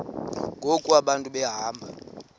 ngoku abantu behamba